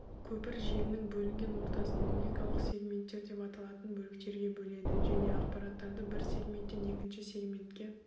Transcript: көпір желінің бөлінген ортасын логикалық сегменттер деп аталатын бөліктерге бөледі және ақпараттарды бір сегменттен екінші сегментке